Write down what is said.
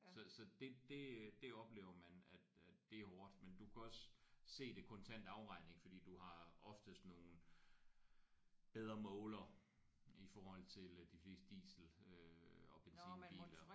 Så så det det øh det oplever man at at det er hårdt men du kan også se det kontant afregning fordi du har oftest nogle bedre målere i forhold til øh de fleste diesel øh og benzinbiler